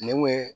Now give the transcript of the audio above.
Ne kun ye